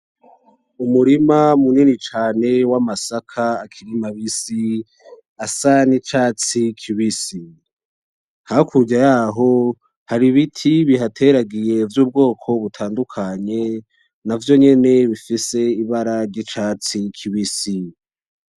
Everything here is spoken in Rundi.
Umurima munini cane w'amasaka akiri mabisi asa n'icatsi kibisi, hakurya yaho Har'ibiti bihateragiye vy'ubwoko butandukanye navyo nyene bifise ibara ry'icatsi kibisi.